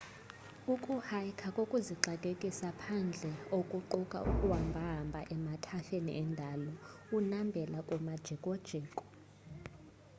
ukuhaykha kukuzixakekisa phandle okuquka ukuhambahamba emathafeni endalo unambela kumajikojiko